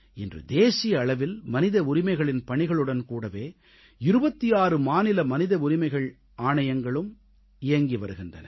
இன்று தேசிய அளவில் மனித உரிமைகளின் பணிகளுடன் கூடவே 26 மாநில மனித உரிமைகள் ஆணையங்களும் இயங்கி வருகின்றன